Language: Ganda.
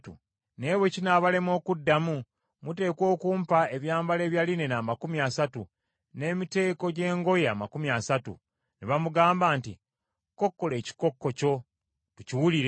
Naye bwe kinaabalema okuddamu, muteekwa okumpa ebyambalo ebya linena amakumi asatu, n’emiteeko gy’engoye amakumi asatu.” Ne bamugamba nti, “Kokkola ekikokko kyo tukiwulire.”